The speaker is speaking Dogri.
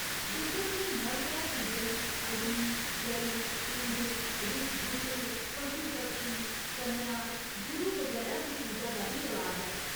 डुग्गर च नवग्रह पूजन, अग्नि, जल, इंद्र, रुक्ख बूह्टे, पशु पक्षी, कन्या, गुरु बगैरा दी पूजा दा बी रवाज ऐ।